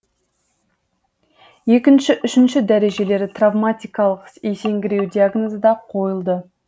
екінші үшінші дәрежелі травматикалық есеңгіреу диагнозы да қойылды